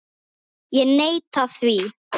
Ég neita því.